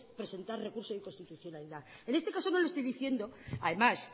presentar recurso de inconstitucionalidad en este caso no le estoy diciendo además